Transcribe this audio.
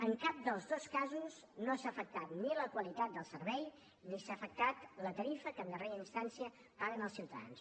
en cap dels dos casos no s’ha afectat ni la qualitat del servei ni s’ha afectat la tarifa que en darrera instància paguen els ciutadans